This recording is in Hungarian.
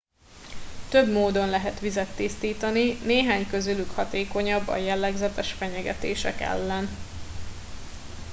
több módon lehet vizet tisztítani néhány közülük hatékonyabb a jellegzetes fenyegetések ellen